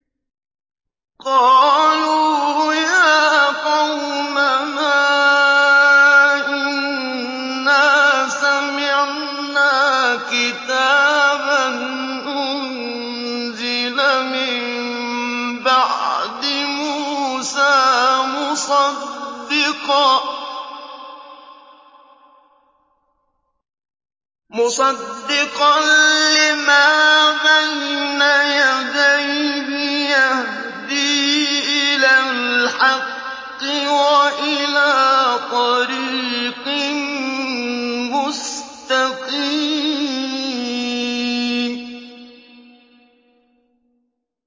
قَالُوا يَا قَوْمَنَا إِنَّا سَمِعْنَا كِتَابًا أُنزِلَ مِن بَعْدِ مُوسَىٰ مُصَدِّقًا لِّمَا بَيْنَ يَدَيْهِ يَهْدِي إِلَى الْحَقِّ وَإِلَىٰ طَرِيقٍ مُّسْتَقِيمٍ